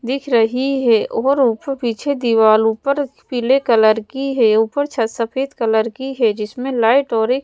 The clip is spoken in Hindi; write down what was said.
दिख रही है और ऊपर पीछे दीवार ऊपर पीले कलर की है ऊपर छत सफेद कलर की है जिसमें लाइट और एक --